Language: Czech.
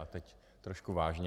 A teď trošku vážně.